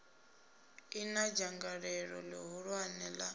ḓi na dzangalelo ḽihulwane ḽa